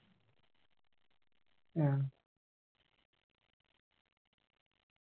ആ